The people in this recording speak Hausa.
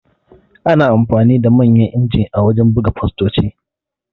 Ana amfani da Manyan injin a wajan buga fastoci